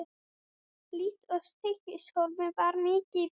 Líkt og í Stykkishólmi var mikið í boði.